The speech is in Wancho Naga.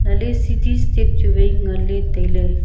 ale sidi step chu wai ngan le taile.